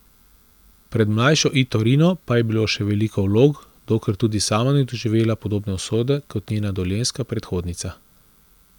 Pred mlajšo Ito Rino pa je bilo še veliko vlog, dokler tudi sama ni doživela podobne usode kot njena dolenjska predhodnica.